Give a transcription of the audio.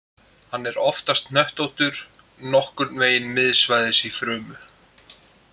Hann er oftast hnöttóttur og nokkurn veginn miðsvæðis í frumu.